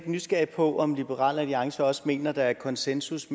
nysgerrig på om liberal alliance også mener at der er konsensus